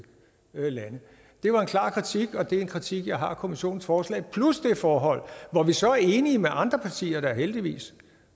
lande det var en klar kritik og det er en kritik jeg har af kommissionens forslag plus det forhold hvor vi så er enige med andre partier heldigvis